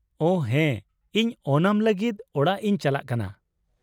ᱳᱦ, ᱦᱮᱸ, ᱤᱧ ᱳᱱᱟᱢ ᱞᱟᱹᱜᱤᱫ ᱚᱲᱟᱜ ᱤᱧ ᱪᱟᱞᱟᱜ ᱠᱟᱱᱟ ᱾